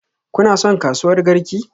Kuna son kasuwar Garki?